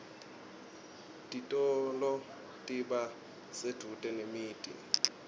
titolo tiba sedvute nemiti